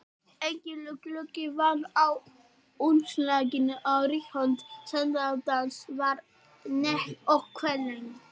Enginn gluggi var á umslaginu og rithönd sendandans var nett og kvenleg.